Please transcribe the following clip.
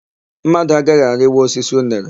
Mmadụ agaghị arịnwu osisi unere.